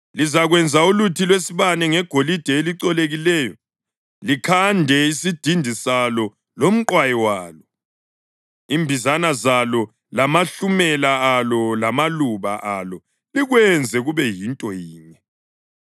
“Lizakwenza uluthi lwesibane ngegolide elicolekileyo. Likhande isidindi salo lomqwayi walo, imbizana zalo lamahlumela alo lamaluba alo likwenze kube yinto yinye.